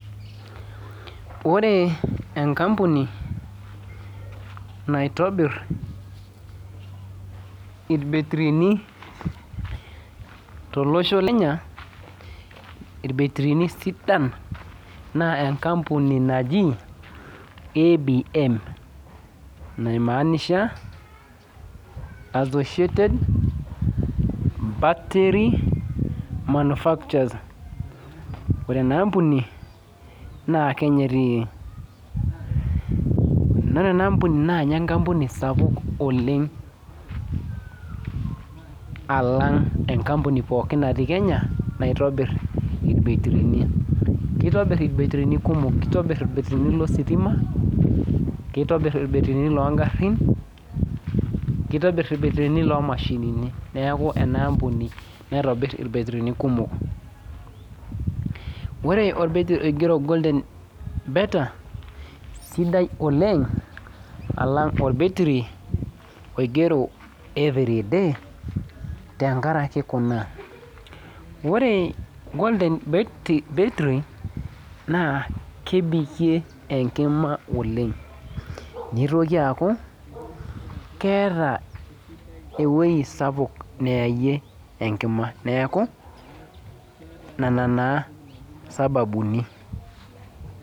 Ore enkampuni naitobir irbetrini tolosho le Kenya irbetrini sidan na enkampuni naji abm naimaanisha associated battery manufacturers ore enaampuni na kenya etii ore enaambuni na ninye enkampuni sapuk alang enkampuni pookin natii kenya naitobir irbetrini , kitobir irbetrini kumok kitobir irbetrini lositima nitobir longarin nitbir irbetrini longarin neaku enaampuni naitobir irbetrini kumok, ore orbetiri oigero golden better na sidai oleng alang orbetri oigero everyday tenkaraki kunabore Golden batery na kebirikie enkima Olengn nitoki aaku keeta ewoi sapuk nayayie enkima neaku nona na sababuni